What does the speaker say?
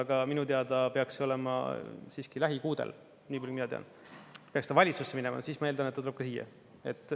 Aga minu teada peaks see olema siiski lähikuudel, niipalju kui mina tean, peaks ta valitsusse minema, siis ma eeldan, et ta tuleb ka siia.